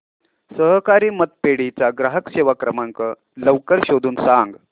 सहकारी पतपेढी चा ग्राहक सेवा क्रमांक लवकर शोधून सांग